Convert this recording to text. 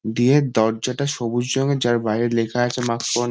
দিয়ের দরজাটা সবুজ রঙের যার বাইরে লেখা আছে ।